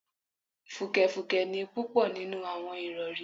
Fùkẹ̀fùkẹ̀ ni púpọ̀ nínú àwọn ìrọ̀rí